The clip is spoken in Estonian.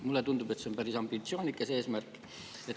Mulle tundub, et see on päris ambitsioonikas eesmärk.